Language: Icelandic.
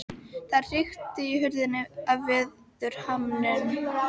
Það hrikti í hurðinni af veðurhamnum.